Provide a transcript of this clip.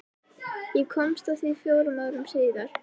Ég komst að því fjórum árum síðar.